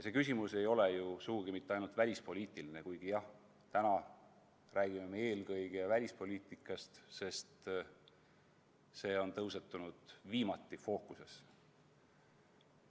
See küsimus ei ole ju sugugi mitte ainult välispoliitiline, kuigi jah, täna me räägime eelkõige välispoliitikast, sest see on viimati fookusesse tõusnud.